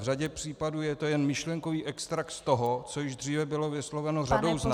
V řadě případů je to jen myšlenkový extrakt z toho, co již dříve bylo vysloveno řadou z nás -